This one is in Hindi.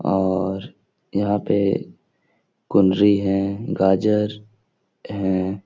और यहाँ पे कुनरी है गाजर हैं।